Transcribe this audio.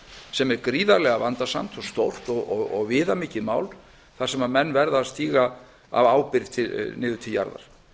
sem er gríðarlega vandasamt og stórt og viðamikið mál þar sem menn verða að stíga af ábyrgð niður til jarðar